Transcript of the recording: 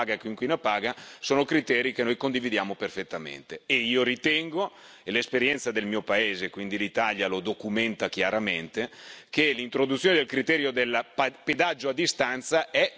Io ritengo e l'esperienza del mio paese, l'Italia, lo documenta chiaramente che l'introduzione del criterio del pedaggio a distanza sia sufficientemente affidabile per rispettare questi pilastri.